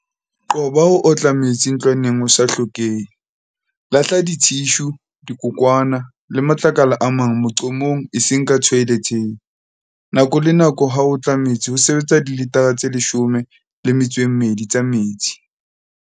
Qoba ho otla metsi ntlwaneng ho sa hlokehe. Lahla dithishu, dikokwana le matlakala a mang moqomong eseng ka thoeletheng. Nako le nako ha o otla metsi ho sebetsa dilitara tse 12 tsa metsi.